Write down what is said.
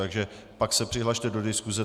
Takže pak se přihlaste do diskuse.